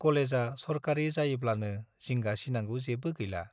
कलेजा सरकारि जायोब्लानो जिंगा सिनांगौ जेबो गैला।